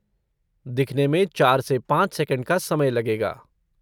दिखने में चार से पाँच सेकंड का समय लगेगा।